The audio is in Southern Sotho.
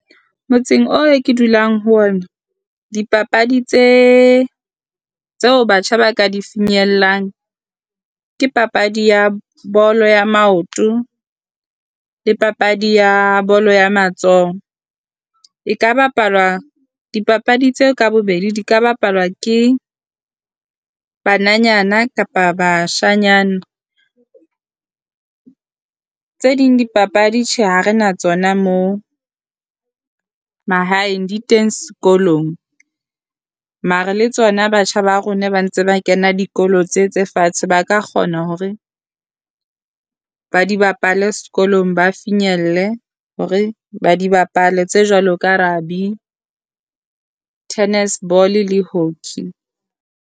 Motseng o we ke dulang ho ona, dipapadi tse tseo batjha ba ka di finyellang ke papadi ya bolo ya maoto, le papadi ya bolo ya matsoho. E ka bapalwa dipapadi tseo ka bobedi di ka bapalwa ke bananyana kapa bashanyana, tse ding dipapadi tjhe ha re na tsona mo mahaeng di teng sekolong. mare le tsona batjha ba rona ba ntse ba kena dikolo tse tse fatshe ba ka kgona hore ba di bapale sekolong, ba finyelle hore ba di bapale tse jwalo ka tennis ball le hockey.